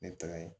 Ne tagara yen